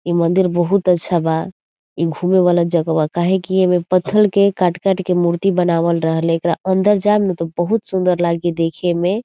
इ मंदिर बहुत अच्छा बा इ घूमे वाला जगह बा काहे की एमें पत्थल के काट-काट के मूर्ति बनावल रहले एकरा अंदर जाएम न त बहुत सुंदर लागी देखे में।